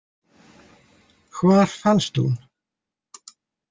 Hvar fannst hún?